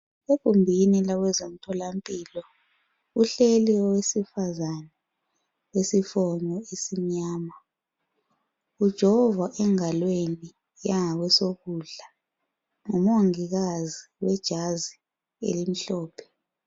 Egumbini labezemtholampilo kuhleli owesifazana owesifonyo esimnyama ujovwa engalweni yanga kwesokudla ngumongikazi wejazi elimhlophe.